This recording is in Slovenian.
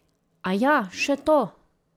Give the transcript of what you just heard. Aja še to!